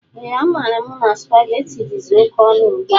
Ee a maara mụ na supaghetti dizi oké ọnụ ugbua.